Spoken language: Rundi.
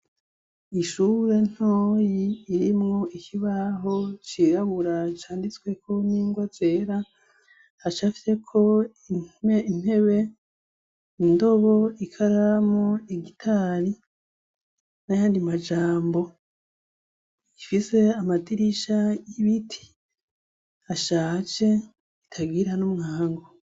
Ishure ntoyi irimwo ikibaho cirabura canditsweko n'ingwa zera, hacafyeko intebe, indobo, ikaramu, igitari n'ayandi majambo, ifise amadirisha y'ibiti ashaje atagira n'umuryango.